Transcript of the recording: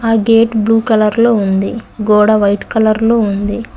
ఆ gate blue colour లో ఉంది గోడ వైట్ కలర్ లో ఉంది.